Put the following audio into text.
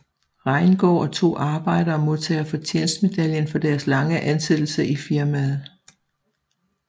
Reingaard og to arbejdere modtager fortjenstmedaljen for deres lange ansættelse i firmaet